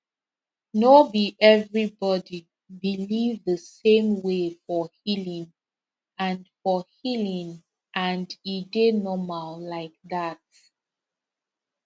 no be everybody believe the same way for healing and for healing and e dey normal like that